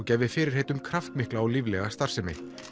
gæfi fyrirheit um kraftmikla og líflega starfsemi